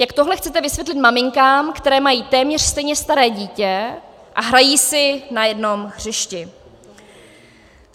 Jak tohle chcete vysvětlit maminkám, které mají téměř stejně staré dítě a hrají si na jednom hřišti?